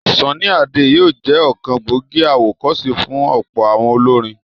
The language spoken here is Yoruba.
Sunny Ade yóò jẹ́ ọ̀kan gbòógì àwọ̀kọ́se fún ọ̀pọ̀ àwọn olórin.